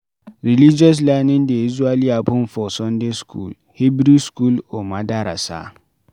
Religious learning dey usually happen for sunday school, Hebrew school or Madrasa